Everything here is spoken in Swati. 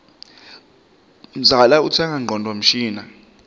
mzala utsenga ngcondvo mshini